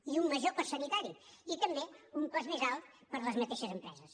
i un major cost sanitari i també un cost més alt per a les mateixes empreses